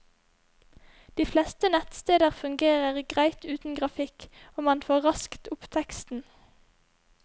De fleste nettsteder fungerer greit uten grafikk, og man får raskt opp teksten.